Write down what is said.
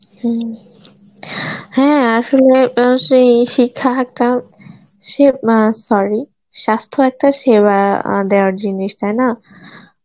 হম হ্যাঁ আসলে এ সেই এ শিক্ষার হারটাও সে মঅ্যাঁ sorry স্বাস্থ্য একটা সেবা অ্যাঁ দেওয়ার জিনিস তাইনা